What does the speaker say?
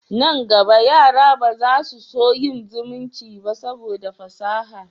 Nan gaba, yara ba za su so yin zumunci ba saboda fasaha